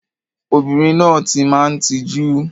Obìnrin náà ti máa ń tijú.